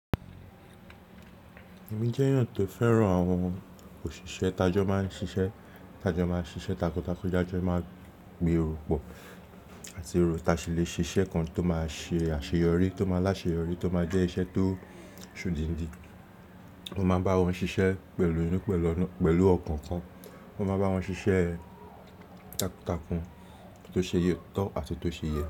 Èmi jẹ́ èèyàn tó fẹ́ràn àwọn òṣìṣẹ́ tajọ́ máa ń ṣiṣẹ́, tajọ́ máa ń ṣiṣẹ́ takuntakun, tájọ́ máa gberò pọ̀ àti rò táṣilẹ̀ ṣiṣẹ́ kan tó máa ṣe àṣeyọrí, tó máa láṣeyọrí, tó máa jẹ́ iṣẹ́ tó ń ṣòdìndì. Wọ́n máa ń bá wọn ṣiṣẹ́ pẹ̀lú inú, pẹ̀lú ọkàn kan. Wọ́n máa bá wọn ṣiṣẹ́ takuntakun, tó ṣe yé tọ́ àti tó ṣe yẹ.